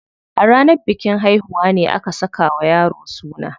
A ranar bikin haihuwa ne aka saka wa yaro suna.